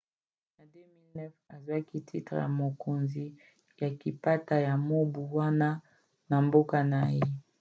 na 2009 azwaki titre ya mokonzi ya kapita ya mobu wana na mboka na ye